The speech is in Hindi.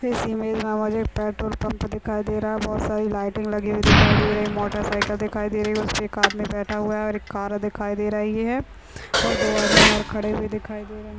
इस इमेज में मुझे एक पेट्रोल पंप दिखाई दे रहा हैं बोहत सारी लाइटिंग लगी हुई दिखाई दे रही हैं मोटरसाइकिल दिखाई दे रही हैं उसपे एक आदमी बैठा हुआ है एक कार दिखाई दे रही है और दो आदमी और खड़े हुए दिखाई दे रहे है ।